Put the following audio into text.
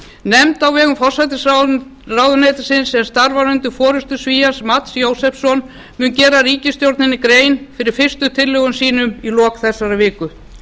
nefnd á vegum forsætisráðuneytisins sem starfar undir forustu svíans mats josefssons mun gera ríkisstjórninni grein fyrir fyrstu tillögum sínum í lok þessarar viku